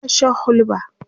tana Shan hulba